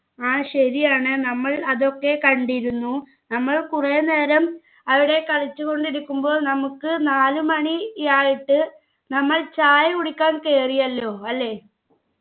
ആ ശരിയാണ് നമ്മൾ അതൊക്കെ കണ്ടിരുന്നു നമ്മൾ കുറെ നേരം അവിടെ കളിച്ചു കൊണ്ടിരിക്കുമ്പോ നമുക്ക് നാലുമണിയായിട്ട് നമ്മൾ ചായ കുടിക്കാൻ കേറിയാല്ലോ അല്ലെ